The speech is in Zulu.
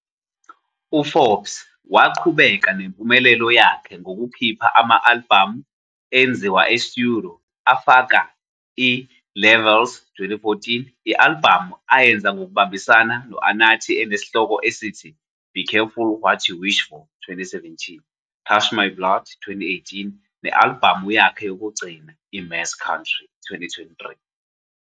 UForbes waqhubeka nempumelelo yakhe ngokukhipha ama-albhamu enziwa e-studio afaka i-Levels, 2014, i-albhamu ayenza ngokubambisana no-Anatii enesihloko esithi Be Careful What You Wish For, 2017, Touch My Blood, 2018, ne-albhamu yakhe yokugcina, i-Mass Country, 2023.